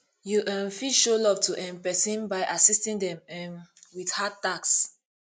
you um fit show love to um person by assiting them um with hard tasks